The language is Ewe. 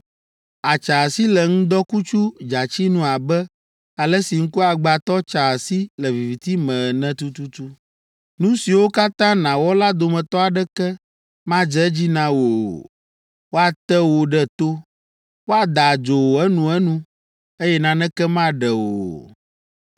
àtsa asi le ŋdɔkutsu dzatsi nu abe ale si ŋkuagbãtɔ tsaa asi le viviti me ene tututu. Nu siwo katã nàwɔ la dometɔ aɖeke madze edzi na wò o. Woate wò ɖe to; woada adzo wò enuenu, eye naneke maɖe wò o.